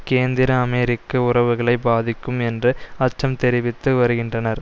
கேந்திர அமெரிக்க உறவுகளை பாதிக்கும் என்று அச்சம் தெரிவித்து வருகின்றனர்